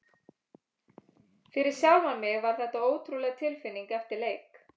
Fyrir sjálfan mig var þetta ótrúleg tilfinning eftir leik.